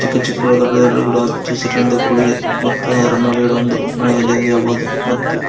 ಚಿಕ್ಕ ಚಿಕ್ಕ ದೊಡ್ಡ ದೊಡ್ಡ ಗಿಡ ಹಚ್ಚ ಹಸಿರಿನಿಂದ ಕೂಡಿದೆ ಮತ್ತು ಅದರ ಮೇಲ್ಗಡೆ ಒಂದು ಮನೆ ಇದೆ ಎಂದು ಹೇಳಬಹುದು ಮತ್ತು--